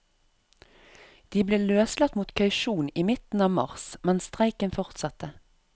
De ble løslatt mot kausjon i midten av mars, men streiken fortsatte.